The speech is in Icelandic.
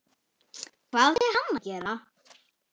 Hvað átti hann að gera?